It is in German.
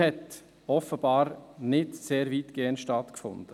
– hat offenbar nicht sehr weitgehend stattgefunden.